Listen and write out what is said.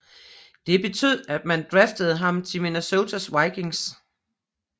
Det betød at man draftede ham til Minesota Vikings